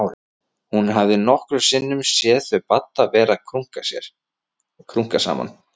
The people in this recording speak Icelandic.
Hún hafði nokkrum sinnum séð þau Badda vera að krunka saman.